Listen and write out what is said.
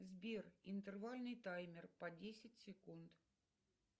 сбер интервальный таймер по десять секунд